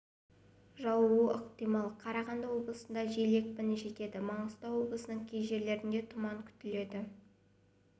жаууы ықтимал қарағанды облысында жел екпіні жетеді маңғыстау облысының кей жерлерінде тұман күтіледі